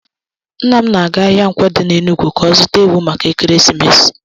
Nna m na-aga ahịa Nkwo di na Enugwu ka ọ zuta ewu maka ekeresimesi.